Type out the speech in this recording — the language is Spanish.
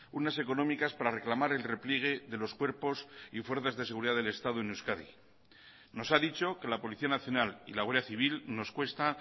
unas económicas para reclamar el repliegue de los cuerpos y fuerzas de seguridad del estado en euskadi nos ha dicho que la policía nacional y la guardia civil nos cuesta